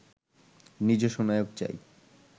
নিজস্ব নায়ক চাই